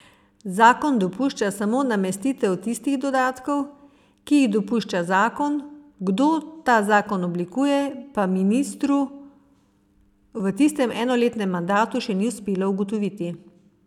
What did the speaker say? Zakon dopušča samo namestitev tistih dodatkov, ki jih dopušča zakon, kdo ta zakon oblikuje, pa ministru v tistem enoletnem mandatu še ni uspelo ugotoviti.